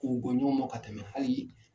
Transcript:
ɲɔgɔn ma ka tɛmɛ hali